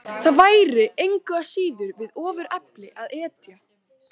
Það væri engu að síður við ofurefli að etja.